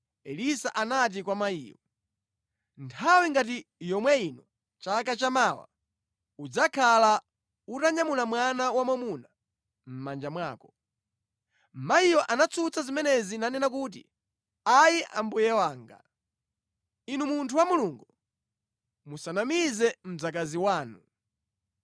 Elisa anati kwa mayiyo, “Nthawi ngati yomwe ino chaka chamawa, udzakhala utanyamula mwana wamwamuna mʼmanja mwako.” Mayiyo anatsutsa zimenezi nanena kuti, “Ayi mbuye wanga. Inu munthu wa Mulungu, musanamize mdzakazi wanu!”